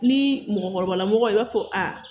Ni mɔgɔkɔrɔba lamɔgɔ i b'a fɔ a